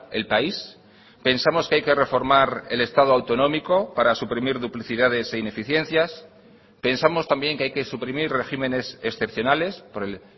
el país pensamos que hay que reformar el estado autonómico para suprimir duplicidades e ineficiencias pensamos también que hay que suprimir regímenes excepcionales por el